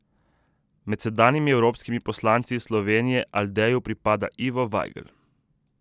Med sedanjimi evropskimi poslanci iz Slovenije Aldeju pripada Ivo Vajgl.